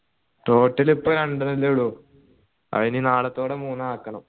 total ഇപ്പൊ രണ്ടന്നെ ഉള്ളു അതെനി നളത്തോടെ മൂന്നാക്കണം